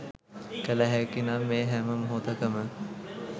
කළ හැකි නම් ඒ හැම මොහොතකම